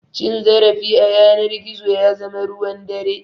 Cin zarafi a yanar gizo ya zama ruwan dare.